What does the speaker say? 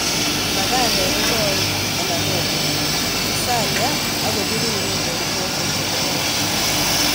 Magandek ko koen ana nuagen pisalia ak kopiriren eng' koko che kororon